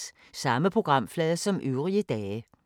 Samme programflade som øvrige dage